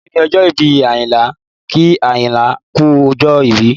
Òní ni ọjọ́ ìbí Ayinla, kí Ayinla kú ọjọ́ ìbí